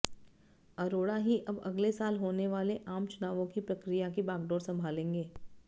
अरोड़ा ही अब अगले साल होने वाले आम चुनावों की प्रक्रिया की बागडोर संभालेंगे